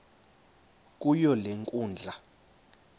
kuyo le nkundla